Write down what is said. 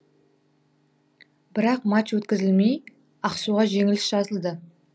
бірақ матч өткізілмей ақсуға жеңіліс жазылды